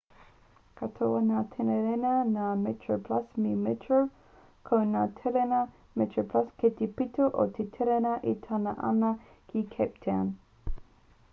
katoa ngā tereina nā metroplus me metro ko ngā tereina metroplus kei te pito o te tereina e tata ana ki cape town